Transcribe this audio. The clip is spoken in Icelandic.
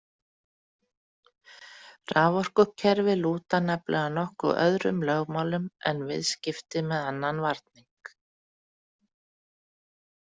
Raforkukerfi lúta nefnilega nokkuð öðrum lögmálum en viðskipti með annan varning.